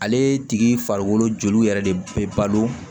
Ale tigi farikolo joliw yɛrɛ de bɛ balo